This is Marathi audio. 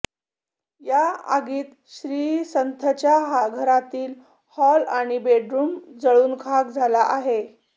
या आगीत श्रीसंथच्या घरातील हॉल आणि बेडरूम जळून खाक झाला आहे